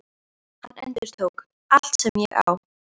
Hann endurtók: Allt sem ég á